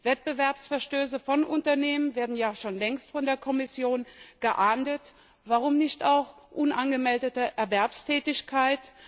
Wettbewerbsverstöße von Unternehmen werden ja schon längst von der Kommission geahndet, warum nicht auch unangemeldete Erwerbstätigkeit?